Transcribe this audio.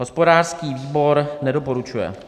Hospodářský výbor nedoporučuje.